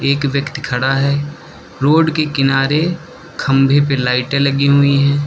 एक व्यक्ति खड़ा है रोड के किनारे खंभे पे लाइटे लगी हुई है।